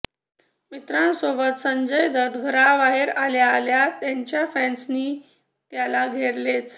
मित्रांसोबत संजय दत्त घराबाहेर आल्या आल्या त्याच्या फॅन्सनी त्याला घेरलंच